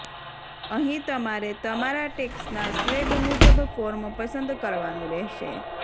અહીં તમારે તમારા ટેક્સના સ્લેબ મુજબ ફોર્મ પસંદ કરવાનું રહેશે